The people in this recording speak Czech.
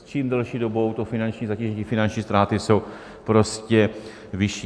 S čím delší dobou to finanční zatížení, finanční ztráty jsou prostě vyšší.